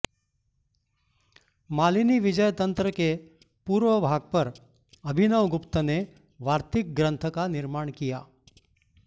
मालिनीविजय तंत्र के पूर्वभाग पर अभिनवगुप्त ने वार्तिक ग्रन्थ का निर्माण किया